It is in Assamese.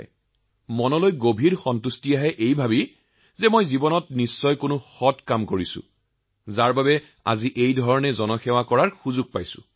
আমি তেতিয়া অতিশয় উৎসাহিত হও কিয়নো আমি কিবা এটা ভাল কাম কৰিছো আৰু সেৱা প্ৰদান কৰাৰ অৱকাশ লাভ কৰিছো